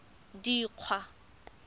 dikgwa